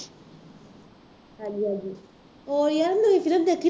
ਹਾਂਜੀ ਹਾਂਜੀ ਓ ਯਾਰ ਨਵੀਂ ਫਿਲਮ ਦੇਖੀ ਤੂੰ